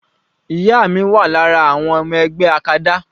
Ìyá mi wà lára àwọn ọmọ ẹgbẹ́ acada.